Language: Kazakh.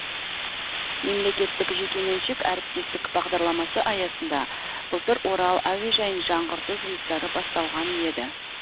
мемлекеттік жекеменшік әріптестік бағдарламасы аясында былтыр орал әуежайын жаңғырту жұмыстары басталған еді